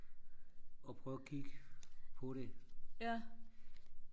og prøve og kigge på det